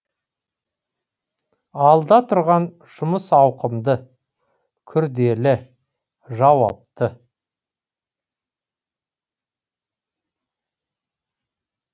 алда тұрған жұмыс ауқымды күрделі жауапты